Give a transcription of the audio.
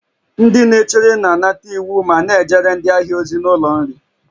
Ndị na-echere na-anata iwu ma na-ejere ndị ahịa ozi n'ụlọ nri